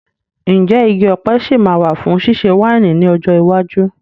Ǹjẹ́ igi ọ̀pẹ sì máa wà fún ṣíṣe wáìnì ní ọjọ́ iwájú?